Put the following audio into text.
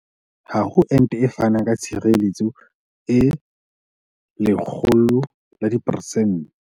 Ha ho ente e fanang ka tshireletso e 100 ya diperesente.